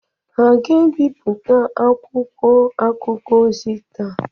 Hà ga-ebipụta akwụkwọ akụkọ ọzọ taa?